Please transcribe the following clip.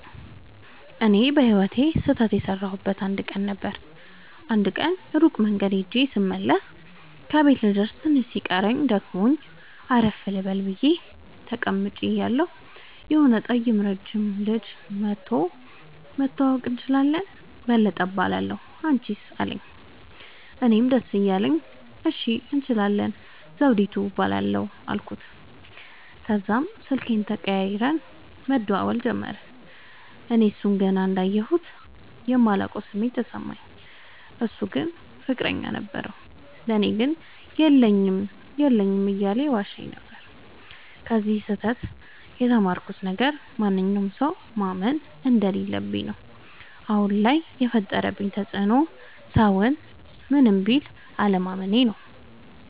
እኔ በህይወቴ ስህተት የሠረውበት አንድ ቀን ነበር። አንድ ቀን ሩቅ መንገድ ኸጀ ስመለስ ከቤቴ ልደርስ ትንሽ ሲቀረኝ ደክሞኝ አረፍ ልበል ብየ ተቀምጨ እያለሁ የሆነ ጠይም ረጅም ልጅ መኧቶ<< መተዋወቅ እንችላለን በለጠ እባላለሁ አንችስ አለኝ>> አለኝ። እኔም ደስ እያለኝ እሺ እንችላለን ዘዉዲቱ እባላለሁ አልኩት። ተዛም ስልክ ተቀያይረን መደዋወል ጀመርን። እኔ እሡን ገና እንዳየሁት የማላቀዉ ስሜት ተሰማኝ። እሡ ግን ፍቅረኛ ነበረዉ። ለኔ ግን የለኝም የለኝም እያለ ይዋሸኝ ነበር። ከዚ ስህተ ት የተማርኩት ነገር ማንኛዉንም ሠዉ ማመን እንደለለብኝ ነዉ። አሁን ላይ የፈጠረብኝ ተፅዕኖ ሠዉን ምንም ቢል አለማመኔ ነዉ።